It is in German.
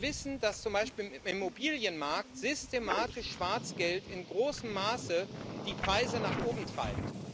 Wir wissen, dass zum Beispiel im Immobilienmarkt systematisch Schwarzgeld in großem Maße die Preise nach oben treibt.